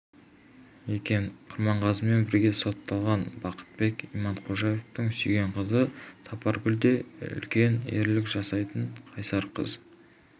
екен құрманғазымен бірге сотталған бақтыбек иманқожаевтың сүйген қызы сапаргүл де үлкен ерлік жасапты қайсар қыз